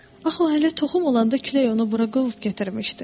Axı o hələ toxum olanda külək onu bura qovub gətirmişdi.